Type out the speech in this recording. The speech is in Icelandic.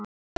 æpti hún.